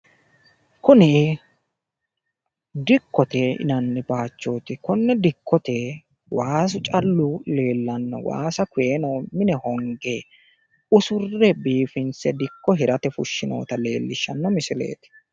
Kuni dikkote yinanni baayiihooti Konne dikkote waasu callu leellanno Waasa konneno mine honge usurre biiffinse dikko hirate fushshinoonnita leellishshanno misileeti.